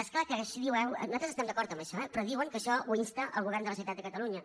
és clar que nosaltres estem d’acord amb això eh però diuen que això ho insta el govern de la generalitat de catalunya